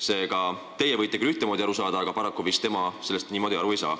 Seega, teie võite küll ühtemoodi aru saada, aga paraku tema sellest niimoodi vist aru ei saa.